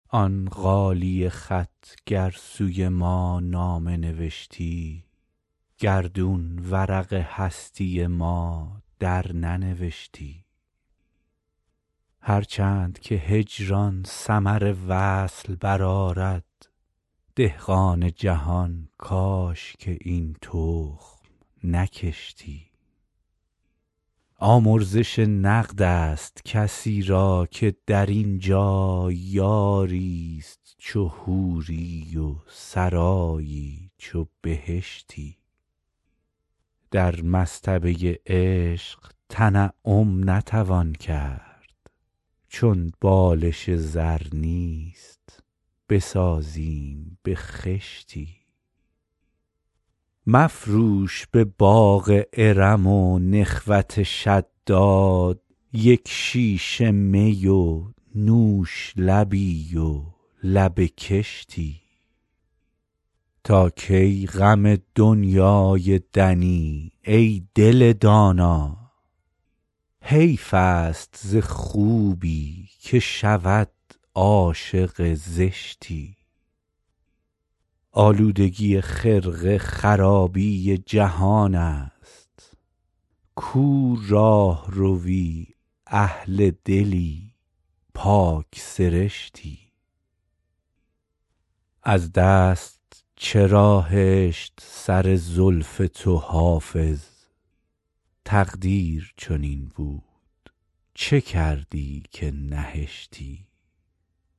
آن غالیه خط گر سوی ما نامه نوشتی گردون ورق هستی ما درننوشتی هر چند که هجران ثمر وصل برآرد دهقان جهان کاش که این تخم نکشتی آمرزش نقد است کسی را که در این جا یاری ست چو حوری و سرایی چو بهشتی در مصطبه عشق تنعم نتوان کرد چون بالش زر نیست بسازیم به خشتی مفروش به باغ ارم و نخوت شداد یک شیشه می و نوش لبی و لب کشتی تا کی غم دنیای دنی ای دل دانا حیف است ز خوبی که شود عاشق زشتی آلودگی خرقه خرابی جهان است کو راهروی اهل دلی پاک سرشتی از دست چرا هشت سر زلف تو حافظ تقدیر چنین بود چه کردی که نهشتی